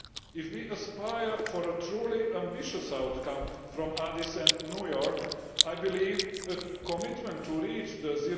If we aspire to a truly ambitious outcome from Addis Ababa and New York, I believe a commitment to reach the